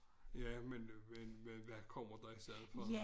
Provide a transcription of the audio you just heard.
Ja men men men hvad kommer der i stedet for